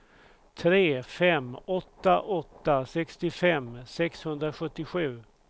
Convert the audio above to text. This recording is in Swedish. tre fem åtta åtta sextiofem sexhundrasjuttiosju